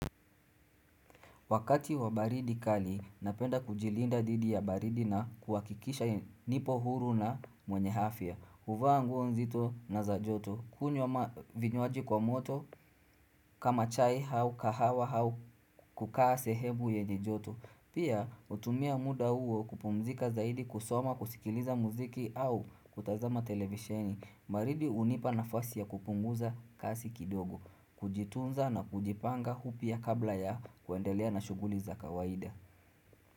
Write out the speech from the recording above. Wakati wa baridi kali, napenda kujilinda dhidi ya baridi na kuhakikisha nipo huru na mwenye afya. Huvaa nguo nzito na za joto, kunyo vinyoaji kwa moto kama chai hau kahawa hau kukaa sehebu yenye joto. Pia utumia muda uo kupumzika zaidi kusoma kusikiliza muziki au kutazama televisheni. Baridi unipa nafasi ya kupunguza kasi kidogo Kujitunza na kujipanga hu pia kabla ya kuendelea na shuguli za kawaida.